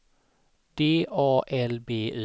D A L B Y